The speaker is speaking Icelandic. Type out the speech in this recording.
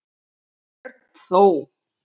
Örn þó.